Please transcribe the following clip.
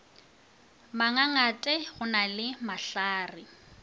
mangangate go na le mahlare